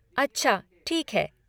अच्छा ठीक है।